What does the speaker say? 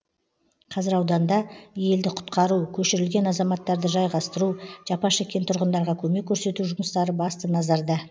қазір ауданда елді құтқару көшірілген азаматтарды жайғастыру жапа шеккен тұрғындарға көмек көрсету жұмыстары басты назарда